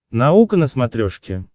наука на смотрешке